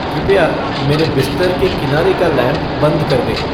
कृपया मेरे बिस्तर के किनारे का लैम्प बंद कर दें